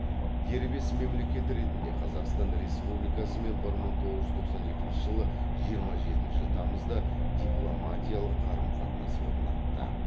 дербес мемлекет ретінде қазақстан республикасымен бір мың тоғыз жүз тоқсан екінші жылы жиырма жетінші тамызда дипломатиялық қарым қатынас орнатты